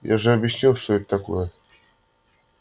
я же объяснил что это такое